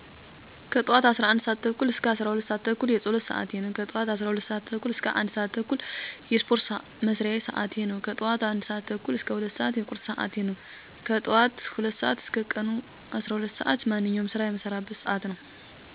ከጠዋቱ 11:30 - 12:30 የፀሎት ስዓቴ ነው። ከጠዋቱ 12:30 - 1:30 የስፓርት መስሪያ ስዓቴ ነው። ከጠዋቱ 1:30 - 2:00 የቁርስ ስዓቴ ነው። ከጠዋቱ 2:00 እስከ ቀኑ 12:00 ስዓት ማንኛውንም የስራ መስሪያ ስዓት የቀን ስራን ጨምሮ። ከቀኑ12:00 - ምሸቱ 2:00 የእራት ስዓቴ ነው። ከምሸቱ 2:00 - 4:00 ማጥኛ እና የፊክሽን መከታተያ ስዓቴ ነው። ከምሸቱ 4:00 - 11:30 የእንቅልፍ ስዓቴ ነው።